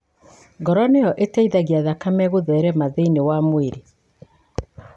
Ngoro nĩyo ĩteithagia thakame kũtherema thĩinĩ wa mwĩrĩ.